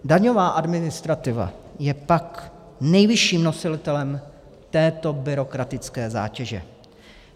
Daňová administrativa je pak nejvyšším nositelem této byrokratické zátěže.